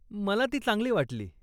मला ती चांगली वाटली.